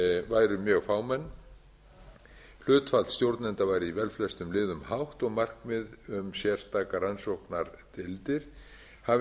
væru mjög fámenn hlutfall stjórnenda væri í velflestum liðum hátt og markmið um sérstakar rannsóknardeildir hafa